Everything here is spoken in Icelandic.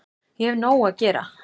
Ég hef nóg að gera